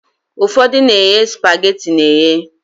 Ụfọdụ na-eghe spageti eghe.